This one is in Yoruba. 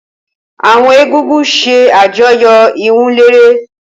Awọn egúngún ṣe àjọyọ iwunlere.